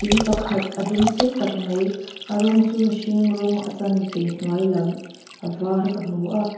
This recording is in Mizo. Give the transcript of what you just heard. in pakhat a dung sei tak mai a rawng chu mihring rawng a chanve hnuam lam a var ka hmu a.